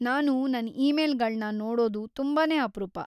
ನಾನು ನನ್ ಇಮೇಲ್‌ಗಳ್ನ ನೋಡೋದು ತುಂಬಾನೇ ಅಪ್ರೂಪ.